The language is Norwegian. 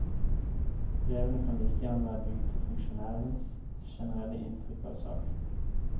Brevene kan like gjerne være bygd på funksjonærens generelle inntrykk av saken.